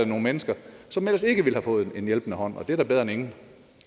nogle mennesker som ellers ikke ville have fået en hjælpende hånd og det er da bedre end